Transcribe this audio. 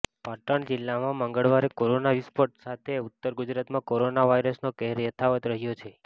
પાટણ જિલ્લામાં મંગળવારે કોરોના વિસ્ફોટ સાથે ઉત્તર ગુજરાતમાં કોરોના વાયરસનો કહેર યથાવત રહ્યો છે